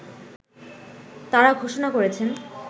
তারা ঘোষণা করেছেন